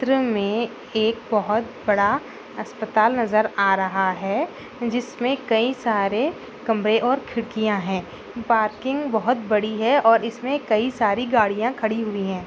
चित्र मे एक बहुत बड़ा अस्पताल नजर आ रहा है जिस मे कई सारे कमरे और खिड़किया है पार्किंग बहुत बड़ी है और इस मे कई सारी गाड़िया खड़ी हुई है।